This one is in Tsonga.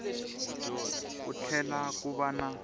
ku tlhela ku va na